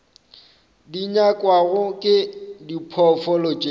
di nyakwago ke diphoofolo tše